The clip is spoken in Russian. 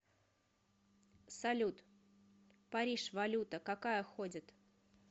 салют париж валюта какая ходит